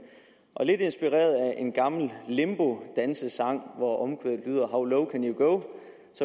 og lidt inspireret af en gammel limbodansesang hvor omkvædet lyder how low can you go